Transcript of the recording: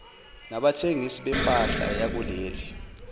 nabathengisi bempahla yakuleli